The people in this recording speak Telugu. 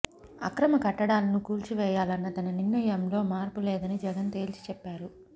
అక్రమ కట్టడాలను కూల్చి వేయాలన్న తన నిర్ణయంలో మార్పు లేదని జగన్ తేల్చిచెప్పారు